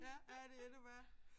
Ja ja det endnu værre